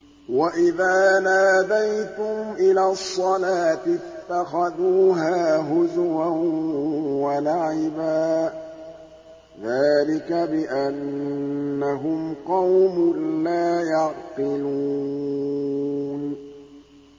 وَإِذَا نَادَيْتُمْ إِلَى الصَّلَاةِ اتَّخَذُوهَا هُزُوًا وَلَعِبًا ۚ ذَٰلِكَ بِأَنَّهُمْ قَوْمٌ لَّا يَعْقِلُونَ